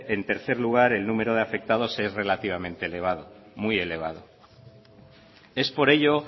en tercer lugar el número de afectados es relativamente elevado muy elevado es por ello